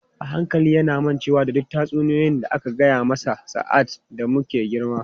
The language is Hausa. A hankali yana mancewa da duk tatsuniyoyi da aka gaya mana sa’ad da muke girma.